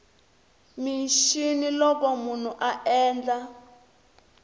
mixini loko munhu a endla